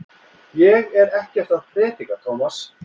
Ég er ekkert að predika, Tómas.